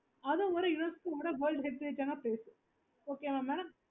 அது ஒரு UNESCO world heritage placeokay mam